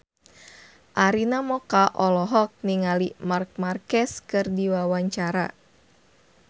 Arina Mocca olohok ningali Marc Marquez keur diwawancara